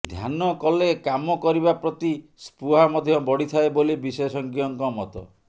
ଧ୍ୟାନ କଲେ କାମ କରିବା ପ୍ରତି ସ୍ପୃହା ମଧ୍ୟ ବଢ଼ିଥାଏ ବୋଲି ବିଶେଷଜ୍ଞଙ୍କ ମତ